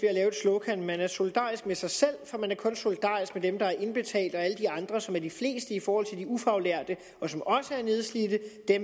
slogan man er solidarisk med sig selv for man er kun solidarisk med dem der indbetaler og alle de andre som er de fleste i forhold til de ufaglærte og som også er nedslidte